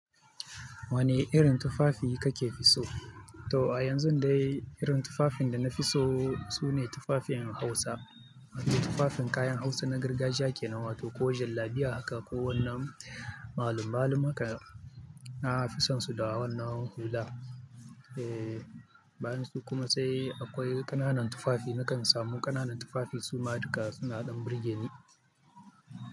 Wane irin tufafi kake fi so? To a yanzun dai irin tufafin da na fi so sune tufafin Hausa. Tufafin kayan Hausa na gargajiya ke nan wato ko jallabiya haka ko wannan malum-malum haka. Na fi son su da wannan hulan. Eee, bayan su kuma sai akwai ƙananan tufafi. Nakan samu ƙananan tufafi su ma duka suna ɗan birgeni.